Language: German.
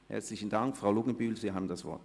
Grossrätin Luginbühl, Sie haben das Wort.